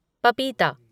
पपीता